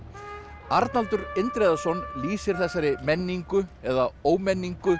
Arnaldur Indriðason lýsir þessari menningu eða ómenningu